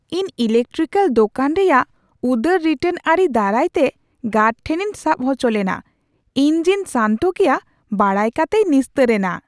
ᱤᱧ ᱤᱞᱮᱠᱴᱤᱠᱮᱹᱞ ᱫᱳᱠᱟᱱ ᱨᱮᱭᱟᱜ ᱩᱫᱟᱹᱨ ᱨᱤᱴᱟᱨᱱ ᱟᱹᱨᱤ ᱫᱟᱨᱟᱭᱛᱮ ᱜᱟᱨᱰ ᱴᱷᱮᱱᱤᱧ ᱥᱟᱵ ᱦᱚᱪᱚ ᱞᱮᱱᱟ ; ᱤᱧ ᱡᱮᱧ ᱥᱟᱱᱛᱚ ᱜᱮᱭᱟ ᱵᱟᱲᱟᱭ ᱠᱟᱛᱮᱭ ᱱᱤᱥᱛᱟᱹᱨ ᱮᱱᱟ ᱾